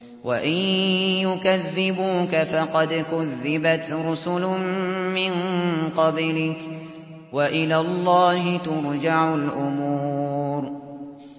وَإِن يُكَذِّبُوكَ فَقَدْ كُذِّبَتْ رُسُلٌ مِّن قَبْلِكَ ۚ وَإِلَى اللَّهِ تُرْجَعُ الْأُمُورُ